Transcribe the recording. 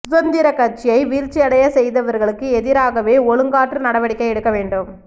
சுதந்திர கட்சியை வீழ்ச்சியடைய செய்தவர்களுக்கு எதிராகவே ஒழுக்காற்று நடவடிக்கை எடுக்க வேண்டும்